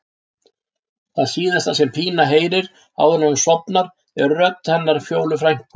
Það síðasta sem Pína heyrir áður en hún sofnar er röddin hennar Fjólu frænku.